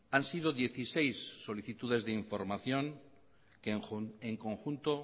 han sido dieciséis solicitudes de información que en conjunto